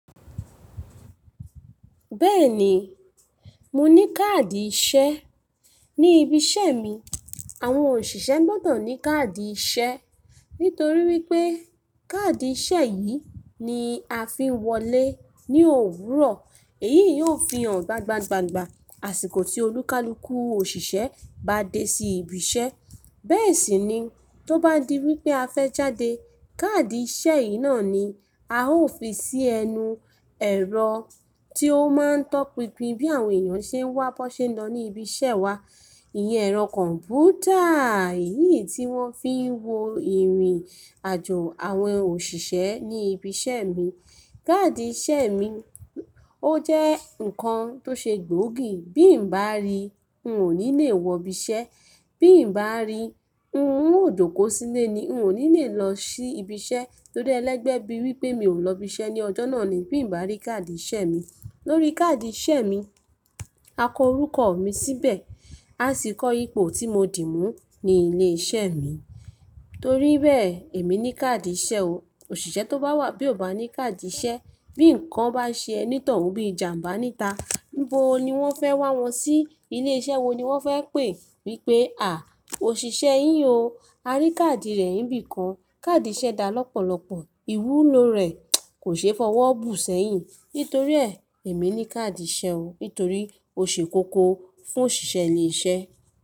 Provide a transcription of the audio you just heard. Bẹ́ẹ̀ni, mo ní káàdì ìṣe. Ni ibi iṣẹ́ mi, àwọn òṣìṣẹ́ gbọ́dọ̀ ní káàdì ìṣe nítorí wípé káàdì ìṣe yìí ni a fi ń wọlé ní òwúrọ̀. Èyí yóò fi hàn gbangba gbangba àsìkò tí olúkalúkù òṣìṣẹ́ bá dé sí ibi iṣẹ́. Bẹ́ẹ̀ sì ni tó bá di wípé a fẹ́ jáde, káàdì ìṣe yìí náà ni a ó fi sí ẹnu ẹ̀rọ tí ó máa ń tọpinpin bí àwọn èèyàn ṣe ń wá, bọ́ ṣe ń lọ ní ibi iṣẹ́ wa. Iyen ẹ̀rọ kọ̀m̀pútà yìí tí wọ́n fi ń wo ìrìn-àjò àwọn òṣìṣẹ́ ní ibi iṣẹ́ mi. Káàdì ìṣe mi ó jẹ́ nǹkan tó ṣe gbóògì. Bí n bá rí i, n ò ní lè wọ ibi iṣẹ́. Bí n bá rí i, n ò jọ̀kọ́ sílẹ̀ ni, n ò ní lè lọ sí ibi iṣẹ́. Torí ẹlẹ́gbẹ̀ẹ́ bíi wípé mi ò lọ ibi iṣẹ́ ní ọjọ́ náà ni bí n bá rí káàdì ìṣe mi. Lórí káàdì ìṣe mi, a ko orúkọ mi síbẹ̀, a sì kọ ipò tí mo dì mú ní ilé iṣẹ́ mi. Torí bẹ́ẹ̀ èmi ní káàdì ìṣe o. Òṣìṣẹ́ tó bá wà bí ò bá ní káàdì ìṣe, bí ǹkan bá ṣe ẹni tọ̀ọ́ún bí i ìjàǹbá níta, níbo ni wọ́n fẹ́ wá wọn sí? Ilé iṣẹ́ wo ni wọ́n fẹ́ pè wípé "à, òṣìṣẹ́ yìí o, a rí káàdì rẹ̀ níbi kan". Káàdì ìṣe dá lọ́pọ̀lọpọ̀, ìwúlò rẹ̀ kò ṣe é fọwọ́ bù sẹ́yìn. Nítorí ẹ́ èmi ní káàdì ìṣe o, nítorí ó ṣe kókó fún òṣìṣẹ́ ilé iṣẹ́.